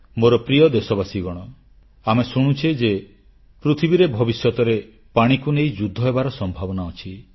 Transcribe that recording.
ମୋର ପ୍ରିୟ ଦେଶବାସୀଗଣ ଆମେ ଶୁଣୁଛେ ଯେ ପୃଥିବୀରେ ଭବିଷ୍ୟତରେ ପାଣିକୁ ନେଇ ଯୁଦ୍ଧ ହେବାର ସମ୍ଭାବନା ଅଛି